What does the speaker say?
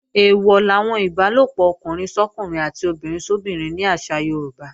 Eèwọ̀ làwọn ìbálòpọ̀ ọkùnrin sọ́kùnrin àti obìnrin sóbinrin ní àṣà Yorùbá